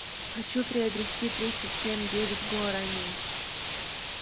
хочу приобрести тридцать семь девять гуарани